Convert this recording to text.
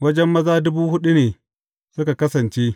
Wajen maza dubu huɗu ne suka kasance.